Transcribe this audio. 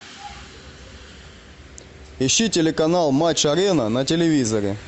ищи телеканал матч арена на телевизоре